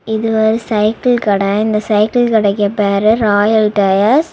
இது ஒரு சைக்கிள் கட இந்த சைக்கிள் கடைக்கு பேரு ராயல் டயர்ஸ் .